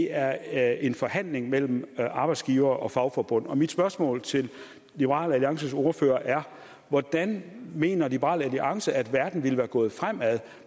er en forhandling mellem arbejdsgivere og fagforbund og mit spørgsmål til liberal alliances ordfører er hvordan mener liberal alliance selv at verden ville være gået fremad